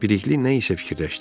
Bilikli nə isə fikirləşdi.